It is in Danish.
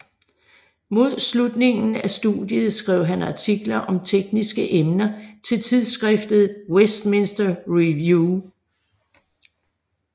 Mod slutningen af studiet skrev han artikler om tekniske emner til tidsskriftet Westminster Review